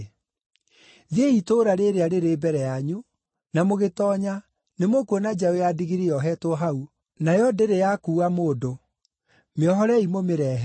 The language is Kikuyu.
“Thiĩi itũũra rĩrĩa rĩrĩ mbere yanyu, na mũgĩtoonya, nĩmũkuona njaũ ya ndigiri yohetwo hau, nayo ndĩrĩ yakuua mũndũ; mĩohorei mũmĩrehe.